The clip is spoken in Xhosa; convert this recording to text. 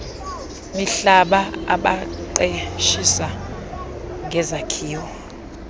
mihlaba abaqeshisa ngezakhiwo